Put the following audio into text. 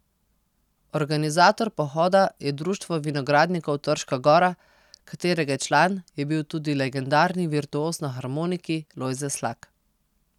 Organizator pohoda je Društvo vinogradnikov Trška Gora, katerega član je bil tudi legendarni virtuoz na harmoniki Lojze Slak.